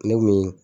Ne kun mi